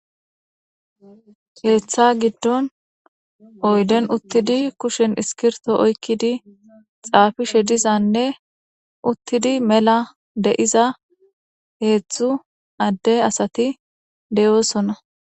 Keeththa giddon oydden uuttidi kushshen iskirtto oykkidi xaafishe dizanne uuttidi mela de'iza heedzdzu adde asati de'oosona